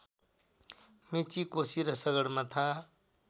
मेची कोशी र सगरमाथा